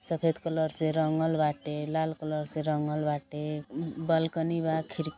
सफ़ेद कलर से रंगल बाटे लाल कलर से रंगल बाटे अं अं बालकनी बा खिर --